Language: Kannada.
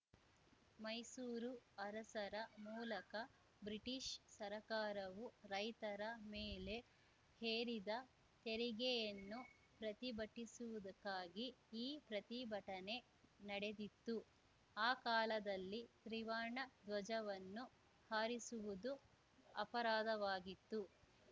ಮೈಸೂರು ಅರಸರ ಮೂಲಕ ಬ್ರಿಟಿಷ್‌ ಸರಕಾರವು ರೈತರ ಮೇಲೆ ಹೇರಿದ ತೆರಿಗೆಯನ್ನು ಪ್ರತಿಭಟಿಸುವುದಕ್ಕಾಗಿ ಈ ಪ್ರತಿಭಟನೆ ನಡೆದಿತ್ತು ಆ ಕಾಲದಲ್ಲಿ ತ್ರಿವರ್ಣ ಧ್ವಜವನ್ನು ಹಾರಿಸುವುದು ಅಪರಾಧವಾಗಿತ್ತು